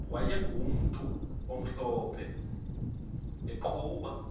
wayegumntu omhlophe eqhuba